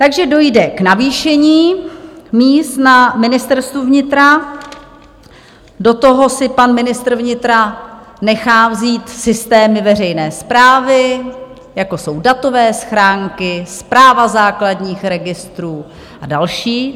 Takže dojde k navýšení míst na Ministerstvu vnitra, do toho si pan ministr vnitra nechá vzít systémy veřejné správy, jako jsou datové schránky, správa základních registrů a další.